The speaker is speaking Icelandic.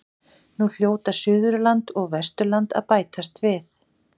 Nú hljóta Suðurland og Vesturland að bætast við.